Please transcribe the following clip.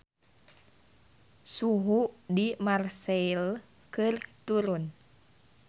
Suhu di Marseille keur turun